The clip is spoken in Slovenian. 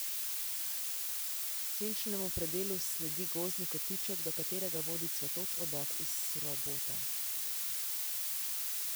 Senčnemu predelu sledi gozdni kotiček, do katerega vodi cvetoč obok iz srobota.